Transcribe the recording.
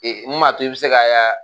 n maa to i bɛ se ka ye aa.